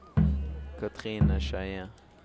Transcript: Katrine Skeie